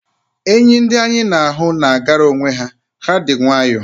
Enyi ndị anyị na-ahụ na-agara onwe ha, ha dị nwayọ